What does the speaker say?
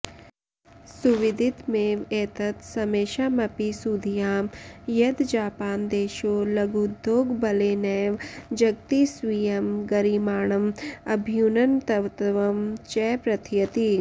सुविदितमेव एतत् समेषामपि सुधियां यद् जापानदेशो लघूद्योगबलेनैव जगति स्वीयं गरिमाणम् अभ्युन्नतत्वं च प्रथयति